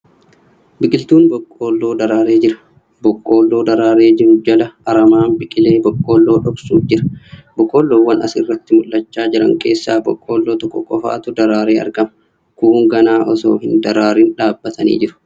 Biqiltuun boqqoolloo daraaree jira. Boqqoolloo daraaree jiru jala aramaan biqilee boqqoollo dhoksuuf jira. Boqqoollowwan as irratti mul'achaa jiran keessaa boqqoolloo tokko qofatu daraaree argama. Kuun ganaa osoo hin daraaariin dhaabbatanii jiru.